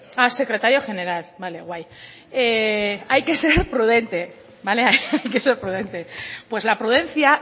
ah secretario general vale guay hay que ser prudente hay que ser prudente pues la prudencia